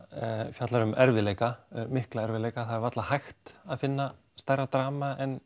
fjallar um erfiðleika mikla erfiðleika það er varla hægt að finna stærra drama en